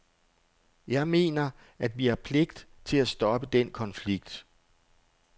Jeg mener, at vi har pligt til at stoppe den konflikt.